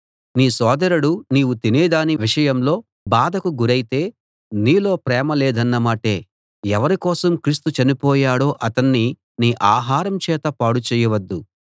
నీ సోదరుడు నీవు తినేదాని విషయంలో బాధకు గురైతే నీలో ప్రేమ లేదన్నమాటే ఎవరి కోసం క్రీస్తు చనిపోయాడో అతణ్ణి నీ ఆహారం చేత పాడు చేయవద్దు